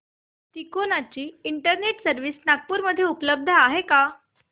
तिकोना ची internet service Nagpur मध्ये उपलब्ध आहे का